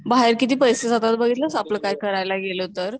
बाहेर किती पैसे जातात बघितलस, आपलं काही करायला गेलं तर